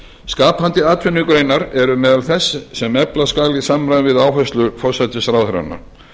skapandi atvinnugreinar eru meðal þess sem efla skal í samræmi við áherslur forsætisráðherranna